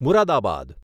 Moradabad